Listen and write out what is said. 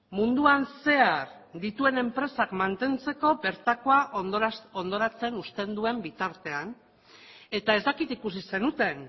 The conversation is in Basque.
munduan zehar dituen enpresak mantentzeko bertakoa hondoratzen uzten duen bitartean eta ez dakit ikusi zenuten